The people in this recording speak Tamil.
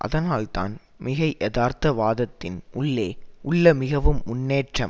அதனால்தான் மிகையதார்த்த வாதத்தின் உள்ளே உள்ள மிகவும் முன்னேற்றம்